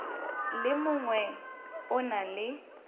le mongwe o na le